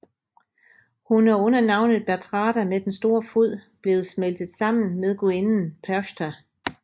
Hun er under navnet Bertrada med den store fod blevet smeltet sammen med gudinden Perchta